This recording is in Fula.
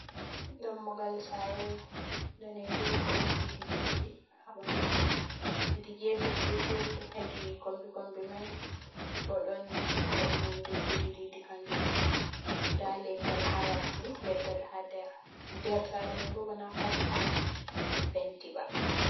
Dammogal sare ɗanejum ɗon didi didi ha ɓanɗu mai, hedi gefe gefe je hedi kombi kombi mai bo ɗon waɗi hunde ɗiɗi didi kanjum fu, nda leggal ha yasi, leggal ha nder, sare mai bo ba na pat on be penti ba.